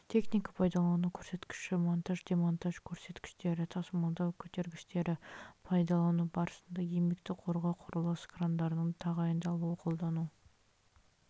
техника пайдалану көрсеткіштері монтаж демонтаж көтергіштерді тасымалдау көтергіштері пайдалану барысындағы еңбекті қорғау құрылыс крандарының тағайындалуы қолдану